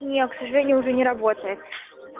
не к сожалению уже не работает